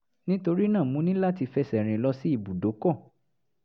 nítorí náà mo ní láti fẹsẹ̀ rìn lọ sí ibùdókọ̀